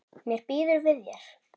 Mér býður við þér.